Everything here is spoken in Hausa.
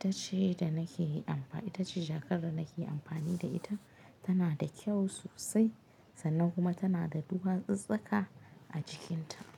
Ita ce da nake amfa, ita ce jakar da nake amfani da ita. Tana da kyau sosai sannan kuma tana da duwatsu tsaka a cikinta.